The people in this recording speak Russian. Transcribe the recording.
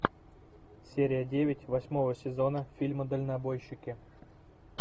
серия девять восьмого сезона фильма дальнобойщики